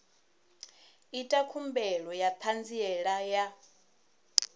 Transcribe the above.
ita khumbelo ya ṱhanziela ya